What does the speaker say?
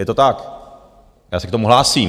Je to tak, já se k tomu hlásím.